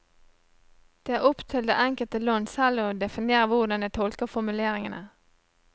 Det er opp til det enkelte land selv å definere hvordan det tolker formuleringene.